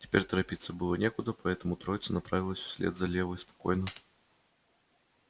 теперь торопиться было некуда поэтому троица направилась вслед за левой спокойно